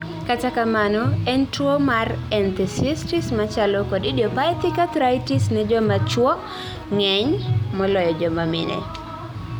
kata kamano ei tuo mar enthesitis machalo kod idiopathic arthritis ne joma chuo ng'eny moloyo joma mine